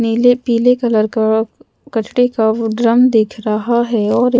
नीले-पीले colour का कचडे का वो ड्रम दिख रहा है और--